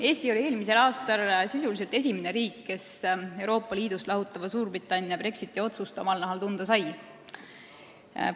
Eesti oli eelmisel aastal sisuliselt esimene riik, kes Euroopa Liidust lahutava Suurbritannia Brexiti-otsust omal nahal tunda sai.